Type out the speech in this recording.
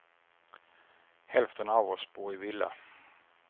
Hälften av oss bor i villa.